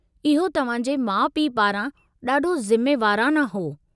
इहो तव्हां जे माउ पीउ पारां ॾाढो ज़िम्मेवाराना हो।